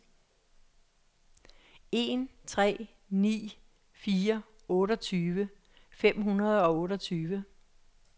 en tre ni fire otteogtyve fem hundrede og otteogtyve